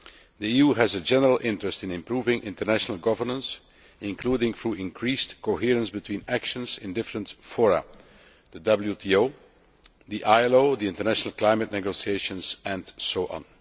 The EU has a general interest in improving international governance, including through increased coherence between actions in different fora the WTO, the ILO, the international climate negotiations, and so on.